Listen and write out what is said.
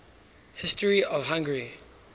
history of hungary